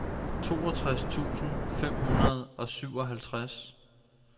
toogtres tusind fem hundrede og syvoghalvtreds